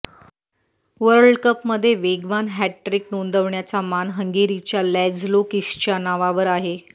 वर्ल्डकपमध्ये वेगवान हॅटट्रिक नोंदवण्याचा मान हंगेरीच्या लॅझ्लो किसच्या नावावर आहे